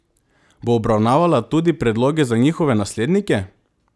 Bo obravnavala tudi predloge za njihove naslednike?